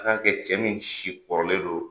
k'a kɛ cɛ min si kɔrɔlen don.